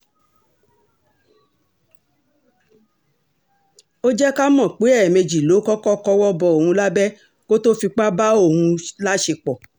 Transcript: ó jẹ́ ká mọ̀ pé ẹ̀ẹ̀mejì ló kọ́kọ́ kọwọ́ bọ òun lábẹ́ kó tóo fipá bá òun láṣepọ̀